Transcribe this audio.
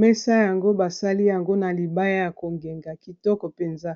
mesa yango basali yango na libaya ya kongenga kitoko mpenza.